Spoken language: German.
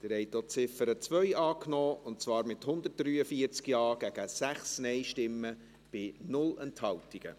Sie haben auch die Ziffer 2 dieser Motion angenommen, mit 143 Ja- gegen 6 Nein-Stimmen bei 0 Enthaltungen.